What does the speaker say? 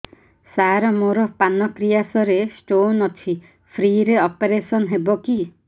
ସାର ମୋର ପାନକ୍ରିଆସ ରେ ସ୍ଟୋନ ଅଛି ଫ୍ରି ରେ ଅପେରସନ ହେବ କି